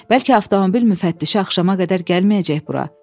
Bəlkə avtomobil müfəttişi axşama qədər gəlməyəcək bura?